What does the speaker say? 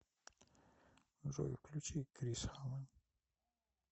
джой включи крисхан